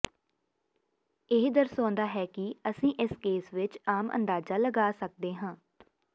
ਇਹ ਦਰਸਾਉਂਦਾ ਹੈ ਕਿ ਅਸੀਂ ਇਸ ਕੇਸ ਵਿਚ ਆਮ ਅੰਦਾਜ਼ਾ ਲਗਾ ਸਕਦੇ ਹਾਂ